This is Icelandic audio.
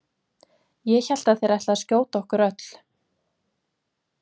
Ég hélt að þeir ætluðu að skjóta okkur öll.